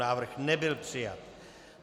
Návrh nebyl přijat.